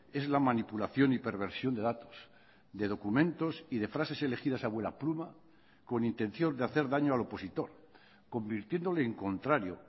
es la manipulación y perversión de datos de documentos y de frases elegidas a vuela pluma con intención de hacer daño al opositor convirtiéndole en contrario